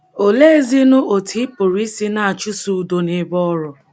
Oleezinụ otú ị pụrụ isi na - achụso udo n’ebe ọrụ?